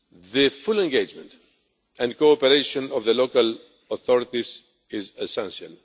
the full engagement and cooperation of the local authorities is essential.